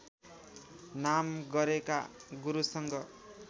नाम गरेका गुरुसँग